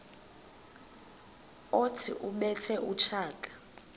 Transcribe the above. othi ubethe utshaka